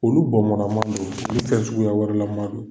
Olu bɔnbɔ kama don, Olu kɛcogoya wɛrɛ lama don.